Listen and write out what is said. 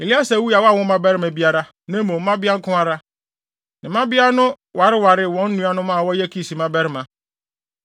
(Eleasar wui a wanwo mmabarima biara, na mmom mmabea nko ara. Ne mmabea no wareware wɔn nuanom a wɔyɛ Kis mmabarima.)